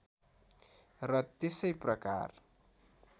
र त्यसै प्रकार